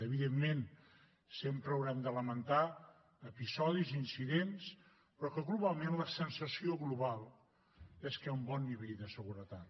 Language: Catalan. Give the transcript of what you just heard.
evidentment sempre haurem de lamentar episodis i incidents però globalment la sensació global és que hi ha un bon nivell de seguretat